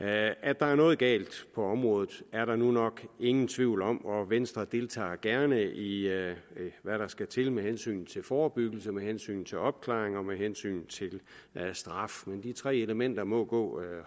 at der er noget galt på området er der nu nok ingen tvivl om og venstre deltager gerne i hvad der skal til med hensyn til forebyggelse med hensyn til opklaring og med hensyn til straf de tre elementer må gå